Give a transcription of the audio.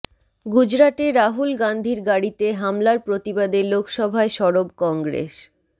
গুজরাটে রাহুল গান্ধির গাড়িতে হামলার প্রতিবাদে লোকসভায় সরব কংগ্রেস